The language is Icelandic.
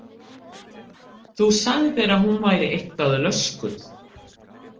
Þú sagðir að hún væri eitthvað löskuð.